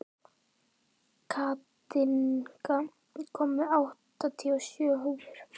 Katinka, ég kom með áttatíu og sjö húfur!